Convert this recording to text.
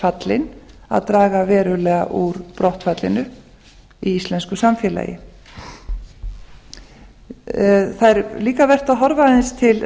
fallin að draga verulega úr brottfallinu í íslensku samfélagi það er líka vert að horfa aðeins til